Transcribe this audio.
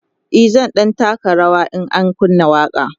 e zan ɗan taka rawa in an kunna waƙa